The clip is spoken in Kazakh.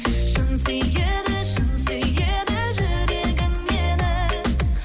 шын сүйеді шын сүйеді жүрегің мені